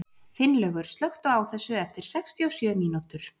Finnlaugur, slökktu á þessu eftir sextíu og sjö mínútur.